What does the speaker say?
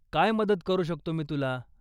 काय मदत करू शकतो मी तुला ?